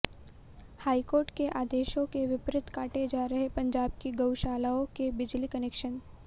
high court के आदेशों के विपरीत काटे जा रहे पंजाब की गऊशालाओं के बिजली कनैक्शन